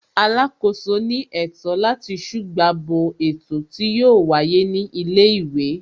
Alákòóso ní ètò láti ṣùgbà bo ètò tí yóò wáyé ní ilé ìwé